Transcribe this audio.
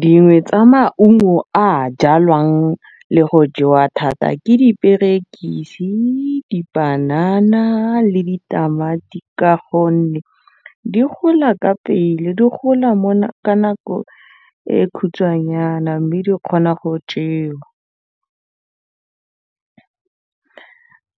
Dingwe tsa maungo a jalwang le go jewa thata ke diperekisi, dipanana le ditamati ka gonne di gola ka pele, di gola ka nako e khutshwanyana mme di kgona go